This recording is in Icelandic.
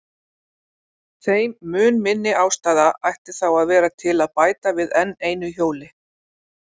Þeim mun minni ástæða ætti þá að vera til að bæta við enn einu hjóli.